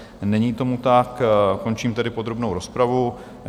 Není tomu tak, končím tedy podrobnou rozpravu.